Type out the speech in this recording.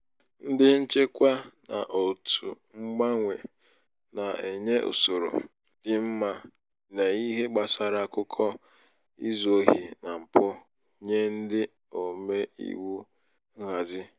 ndị nchekwa na otù mgbanwe na- enye usoro dị mma n'ihe gbásárá akụkọ izu ohi na mpụ nye ndị ome iwu nhazi.